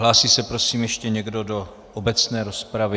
Hlásí se prosím ještě někdo do obecné rozpravy?